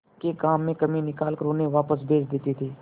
के काम में कमी निकाल कर उन्हें वापस भेज देते थे